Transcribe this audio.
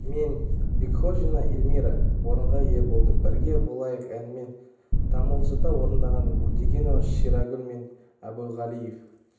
мен бекхожина эльмира орынға ие болды бірге болайық әнін тамылжыта орындаған өтегенова шаригул мен әбуғалиев